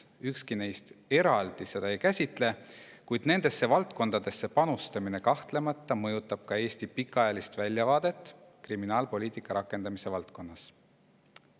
Ükski neist eraldi seda ei käsitle, kuid nendesse valdkondadesse panustamine kahtlemata mõjutab Eesti pikaajalist väljavaadet kriminaalpoliitika rakendamise valdkonnas.